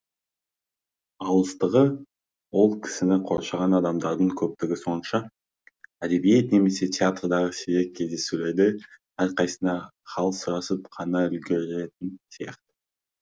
алыстығы ол кісіні қоршаған адамдардың көптігі сонша әдебиет немесе театрдағы сирек кездесулерде әрқайсына хал сұрасып қана үлгеретін сияқы